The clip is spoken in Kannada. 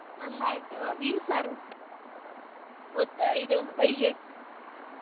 ನಂದಾಯ್ತು ಮೀನ್ ಸಾರು ಬೂ~ ಇದು ಬೈಗೆ.